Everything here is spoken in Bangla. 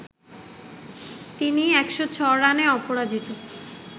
তিনি ১০৬ রানে অপরাজিত